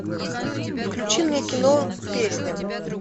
включи мне кино песня